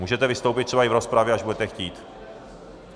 Můžete vystoupit třeba i v rozpravě, až budete chtít.